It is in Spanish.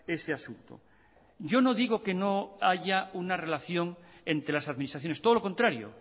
ese asunto yo no digo que no haya una relación entre las administraciones todo lo contrario